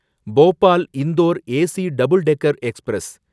Bhopal Indore AC double decker express